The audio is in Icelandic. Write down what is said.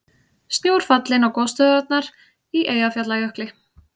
Snjór fallinn á gosstöðvarnar í Eyjafjallajökli